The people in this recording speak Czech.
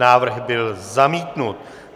Návrh byl zamítnut.